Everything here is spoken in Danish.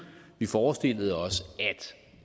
forestillede os